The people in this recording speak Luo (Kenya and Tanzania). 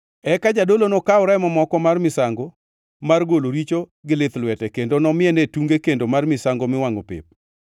Eka jadolo nokaw remo moko mar misango mar golo richo gi lith lwete kendo nomiene tunge kendo mar misango miwangʼo pep, eka remo duto modongʼ to nopukie tiend kendo mar misango miwangʼo.